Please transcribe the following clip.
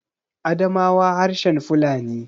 Adamawa harshen Fulani